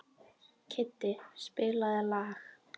Kiddi, spilaðu lag.